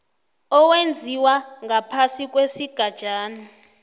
owenziwa ngaphasi kwesigatjana